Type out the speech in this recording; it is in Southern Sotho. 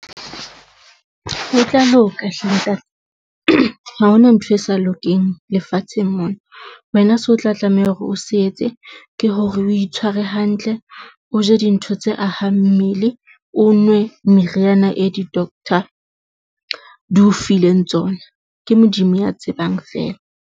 Ho tla loka hle, ntate, ha hona ntho e sa lokeng lefatsheng mona, wena so tla tlameha hore o se etse ke hore o itshware hantle, o je dintho tse ahang mmele o nwe meriana e di-doctor di o fileng tsona. Ke Modimo ya tsebang fela.